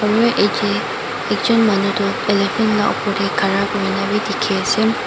aro yadae ekjun manu toh elephant laka opor dae Kara kurikina bi diki asae.